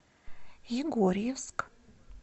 егорьевск